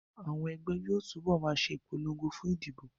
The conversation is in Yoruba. Àwọn ẹgbẹ́ yóò túbọ̀ ma ṣe ìpolongo fún ìdìbò